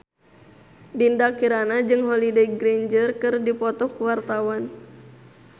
Dinda Kirana jeung Holliday Grainger keur dipoto ku wartawan